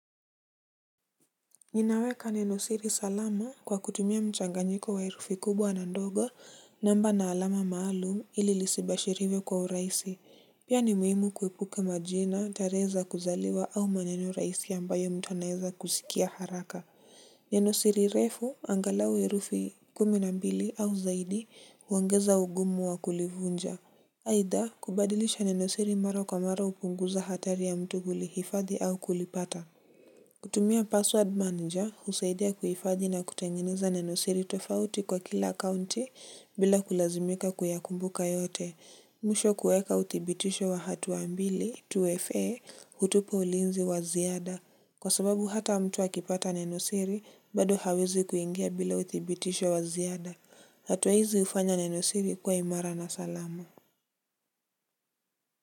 Ninaweka nenosiri salama kwa kutumia mchanganyiko wa herufi kubwa na ndogo, namba na alama maalum ili lisibashiriwe kwa urahisi. Pia ni muhimu kuepuka majina, tarehe za kuzaliwa au maneno rahisi ambayo yanaweza kusikika haraka. Nenosiri refu angalau herufi kumi na mbili au zaidi huongeza ugumu wa kulivunja. Aidha kubadilisha nenosiri mara kwa mara hupunguza hatari ya mtu kulihifadhi au kulipata. Kutumia password manager husaidia kuhifadhi na kutengeneza nenosiri tofauti kwa kila akaunti bila kulazimika kuyakumbuka yote. Mwisho, kuweka uthibitisho wa hatua mbili, tuweze kupata ulinzi wa ziada. Kwa sababu hata mtu akipata nenosiri, bado hawezi kuingia bila uthibitisho wa ziada. Hatua hizi hufanya nenosiri kuwa imara na salama.